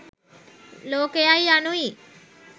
ලෝකයයි, යනු යි.